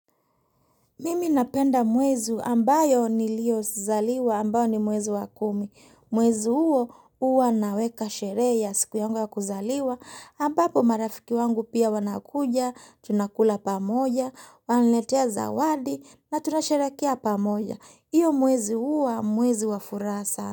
Mimi napenda mwezi ambayo niliyozaliwa ambayo ni mwezi wa kumi. Mwezi huo huwa naweka sherehe ya siku yangu ya kuzaliwa. Ambapo marafiki wangu pia wanakuja, tunakula pamoja, wananiletea zawadi na tunasherekea pamoja. Iyo mwezi huwa mwezi wa furaha sana.